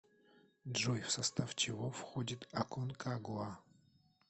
джой в состав чего входит аконкагуа